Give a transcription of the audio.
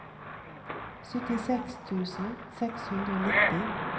syttiseks tusen seks hundre og nitti